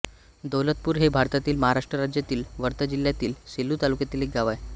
दौलतपूर हे भारतातील महाराष्ट्र राज्यातील वर्धा जिल्ह्यातील सेलू तालुक्यातील एक गाव आहे